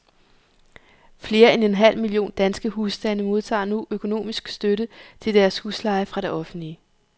Flere end en halv million danske husstande modtager nu økonomisk støtte til deres husleje fra det offentlige.